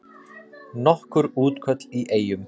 Nokkur útköll í Eyjum